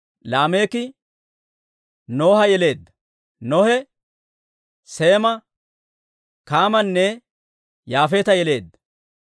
Laameeki Noha yeleedda. Nohe Seema, Kaamanne Yaafeeta yeleedda.